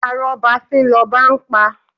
Arọ́ba fín lọba ń pa!